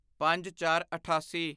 ਪੰਜਚਾਰਅਠਾਸੀ